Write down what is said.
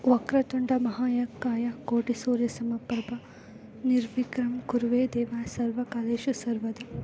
ವಕ್ರ ತುಡ ಮಹಾಕಾಯ ಕೋಟಿ ಸೂರ್ಯ ಸಮಪ್ರಭಾ ನಿರ್ವಿಜ್ಞಾಮ್ ಕುರುವೆ ದೇವಾ ಸರ್ವ ಕರಿಯೇಷು ಸರ್ವದ .>